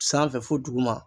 Sanfɛ fo duguma.